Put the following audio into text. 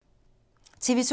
TV 2